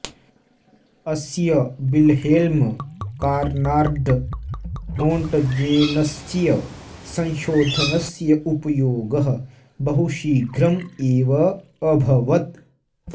अस्य Wilhelm Conrad रोन्ट्जेनस्य संशोधनस्य उपयोगः बहुशीघ्रम् एव अभवत्